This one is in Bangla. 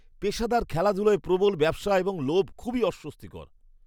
পেশাদার খেলাধুলায় প্রবল ব্যবসা এবং লোভ খুবই অস্বস্তিকর।